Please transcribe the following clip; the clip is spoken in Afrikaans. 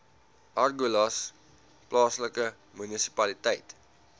agulhas plaaslike munisipaliteit